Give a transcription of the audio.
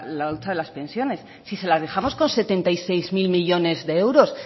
la hucha de las pensiones si se la dejamos con setenta y seis mil millónes de euros